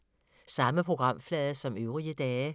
Samme programflade som øvrige dage